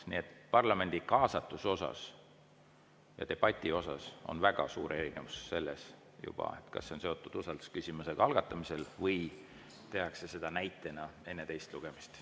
Nii et parlamendi kaasatuse ja debati osas on väga suur erinevus juba selles, kas see on seotud usaldusküsimusega algatamisel või tehakse seda näiteks enne teist lugemist.